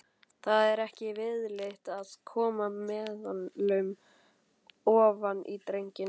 Það er ekki viðlit að koma meðulum ofan í drenginn.